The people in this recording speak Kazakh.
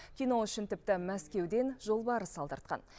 кино үшін тіпті мәскеуден жолбарыс алдыртқан